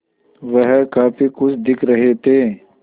वह काफ़ी खुश दिख रहे थे